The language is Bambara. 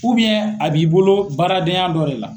a b'i bolo baaradenya dɔ de la.